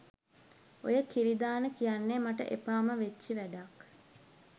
ඔය කිරි දාන කියන්නෙ මට එපාම වෙච්ච වැඩක්.